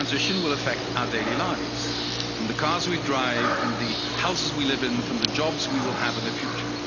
This transition will affect our daily lives from the cars we drive, from the houses we live in, from the jobs we will have in the future.